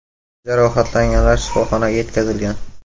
Jarohatlanganlar shifoxonaga yetkazilgan.